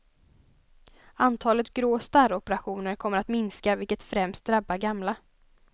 Antalet grå starroperationer kommer att minska, vilket främst drabbar gamla.